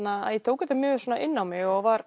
að ég tók þetta mjög inn á mig og var